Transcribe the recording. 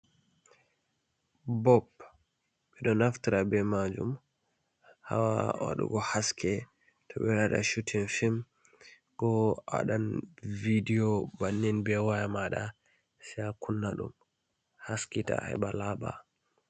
Bob ɓeɗo naftira be majum ha waɗugo haske towɓe ɗo waɗa chutin film ko awaɗan vidiyo bannin be waya maɗa, se a kunna ɗum haskita heɓa laɓa.